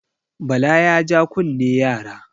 Bala ya ja kunne yara.